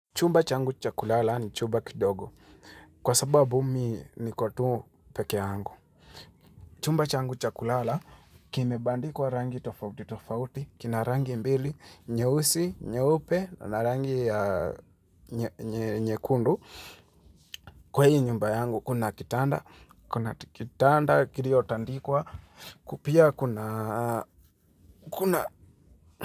Chumba changu cha kulala ni chumba kidogo. Kwa sababu mi niko tu peke yangu. Chumba changu cha kulala, kimebandikwa rangi tofauti, tofauti. Kina rangi mbili, nyeusi, nyeupe, na rangi ya nye nye nyekundu Kwa hii nyumba yangu, kuna kitanda, kuna t kitanda, kirio tandikwa. Ku pia kuna kuna.